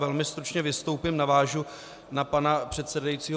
Velmi stručně vystoupím, navážu na pana předsedajícího.